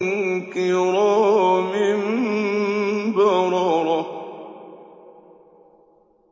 كِرَامٍ بَرَرَةٍ